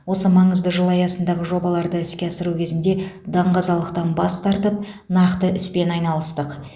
осы маңызды жыл аясындағы жобаларды іске асыру кезінде даңғазалықтан бас тартып нақты іспен айналыстық